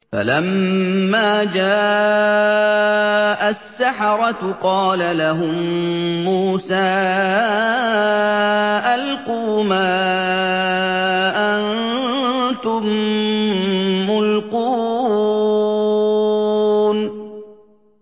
فَلَمَّا جَاءَ السَّحَرَةُ قَالَ لَهُم مُّوسَىٰ أَلْقُوا مَا أَنتُم مُّلْقُونَ